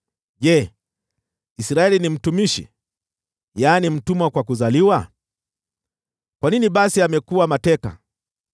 Je, Israeli ni mtumishi, yaani mtumwa kwa kuzaliwa? Kwa nini basi amekuwa mateka?